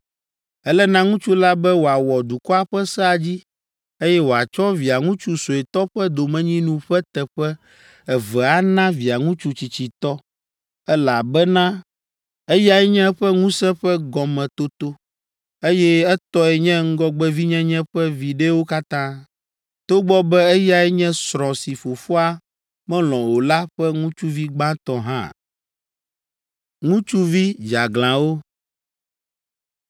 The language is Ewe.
Ele na ŋutsu la be wòawɔ dukɔa ƒe sea dzi, eye wòatsɔ Via ŋutsu suetɔ ƒe domenyinu ƒe teƒe eve ana Via ŋutsu tsitsitɔ, elabena eyae nye eƒe ŋusẽ ƒe gɔmetoto, eye etɔe nye ŋgɔgbevinyenye ƒe viɖewo katã, togbɔ be eyae nye srɔ̃ si fofoa melɔ̃ o la ƒe ŋutsuvi gbãtɔ hã.”